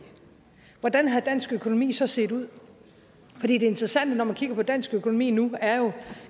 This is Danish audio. hvordan havde dansk økonomi så set ud det interessante når man kigger på dansk økonomi nu er